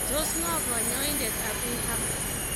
Tos ng'o kanyaindet Abiy Ahmed?